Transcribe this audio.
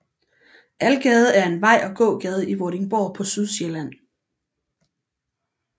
Algade er en vej og gågade i Vordingborg på Sydsjælland